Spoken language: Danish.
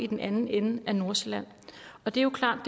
den anden ende af nordsjælland og det er jo klart